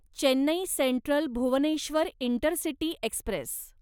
Chennai central Bhubaneswar intercity Express